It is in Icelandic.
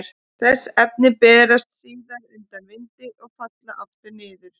Þessi efni berast síðan undan vindi og falla aftur niður.